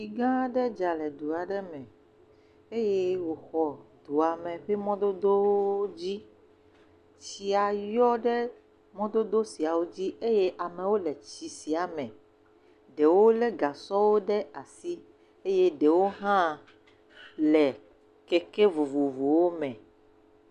Etsi gã aɖe dza le du aɖe me eye wòxɔ dua me ƒe mɔdodowo dzi, tsia yɔ ɖe mɔdodo siawo dzi eye amewo le tsi sia me, ɖewo lé gasɔ ɖe asi eye ɖewo hã le keke vovovowo me.